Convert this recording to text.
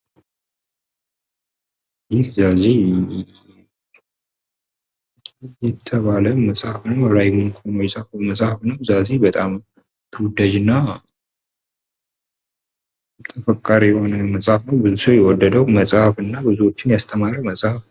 ይህ ዛዚ የተባለ መጽሐፍ ነው። መጽሐፉን ራይሞንድ ከኖ የጻፈው መጽሐፍ ነው ።ዛዚ በጣም ተወዳጅ እና ተፈቃሪ የሆነ መጽሐፍ ነው። ብዙ ሰው የወደደው መጽሐፍ እና ብዙዎችን የአስተማረ መጽሃፍ ነው።